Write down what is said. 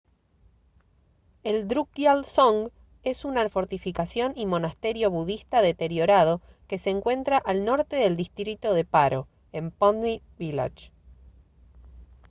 el drukgyal dzong es una fortificación y monasterio budista deteriorado que se encuentra al norte del distrito de paro en phondey village